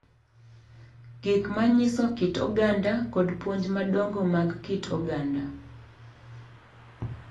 Gik ma nyiso kit oganda kod puonj madongo mag kit oganda.